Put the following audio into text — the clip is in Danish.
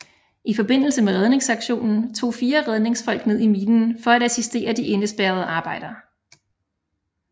I forbindelse med redningsaktionen tog fire redningsfolk ned i minen for at assistere de indespærrede arbejdere